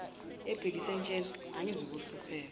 ebhekise entsheni angizuhlupheka